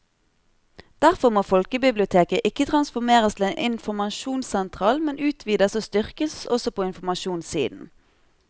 Derfor må folkebiblioteket ikke transformeres til en informasjonssentral, men utvides og styrkes også på informasjonssiden.